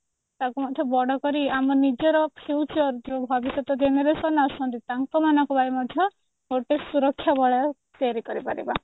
ଟାକୁ ବଡ କରି ଆମ ନିଜର future ଯୋଉ ଭବିଷ୍ୟତ generation ଆସୁଛନ୍ତି ତାଙ୍କ ମାନଙ୍କ ପାଇଁ ମଧ୍ୟ ଗୋଟେ ସୁରକ୍ଷା ବଳୟ ତିଆରି କରିପାରିବା